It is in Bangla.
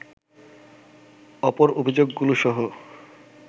অপর অভিযোগগুলোসহ